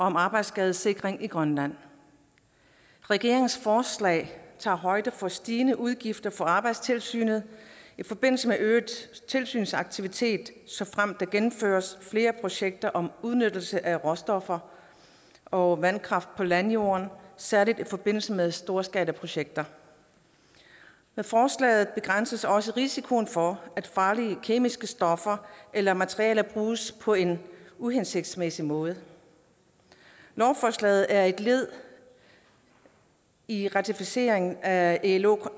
om arbejdsskadesikring i grønland regeringens forslag tager højde for stigende udgifter for arbejdstilsynet i forbindelse med øget tilsynsaktivitet såfremt der gennemføres flere projekter om udnyttelse af råstoffer og vandkraft på landjorden særlig i forbindelse med storskalaprojekter med forslaget begrænses også risikoen for at farlige kemiske stoffer eller materialer bruges på en uhensigtsmæssig måde lovforslaget er et led i ratificeringen af ilos